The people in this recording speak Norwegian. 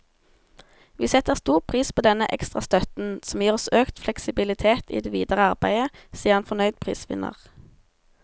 Vi setter stor pris på denne ekstra støtten, som gir oss økt fleksibilitet i det videre arbeidet, sier en fornøyd prisvinner.